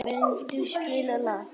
Gvendur, spilaðu lag.